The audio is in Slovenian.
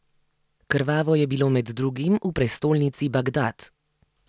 Krvavo je bilo med drugim v prestolnici Bagdad.